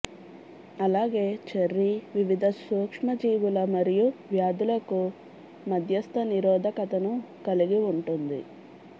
అలాగే చెర్రీ వివిధ సూక్ష్మజీవుల మరియు వ్యాధులకు మధ్యస్థ నిరోధకతను కలిగి ఉంటుంది